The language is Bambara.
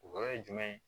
O yɔrɔ ye jumɛn ye